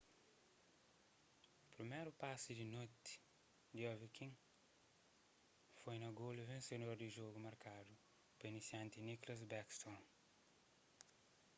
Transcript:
priméru pasi di noti di ovechkin foi na golu vensedor di jogu markadu pa inisianti nicklas backstrom